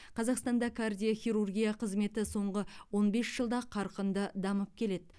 қазақстанда кардиохирургия қызметі соңғы он бес жылда қарқынды дамып келеді